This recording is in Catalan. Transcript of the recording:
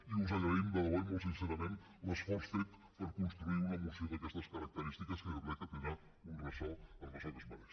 i us agraïm de debò i molt sincerament l’esforç fet per construir una moció d’aquestes característiques que jo crec que tindrà un ressò el ressò que es mereix